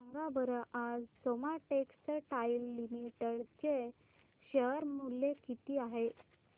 सांगा बरं आज सोमा टेक्सटाइल लिमिटेड चे शेअर चे मूल्य किती आहे